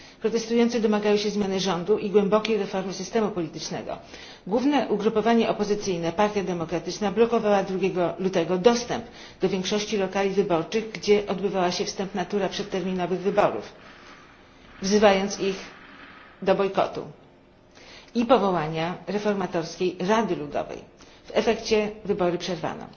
Protestujący domagają się zmiany rządu i głębokiej reformy systemu politycznego. Główne ugrupowanie opozycyjne, Partia Demokratyczna, blokowała 2 go lutego dostęp do większości lokali wyborczych, gdzie odbywała się wstępna tura przedterminowych wyborów, wzywając do ich bojkotu i powołania reformatorskiej rady ludowej w efekcie wybory przerwano.